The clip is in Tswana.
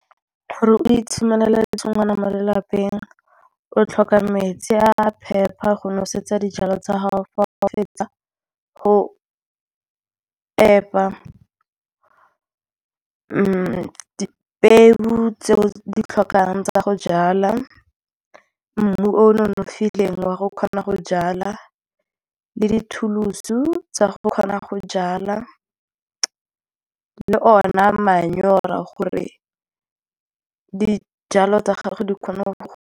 Gore o itshimolele tshingwana mo lelapeng o tlhoka metsi a phepa go nosetsa dijalo tsa gago fa o fetsa go epa peo tseo ditlhokang tsa go jala, mmu o nonofileng wa go kgona go jala le di-tool-so tsa go kgona go jala, le o na manyora gore dijalo tsa gago di kgona go.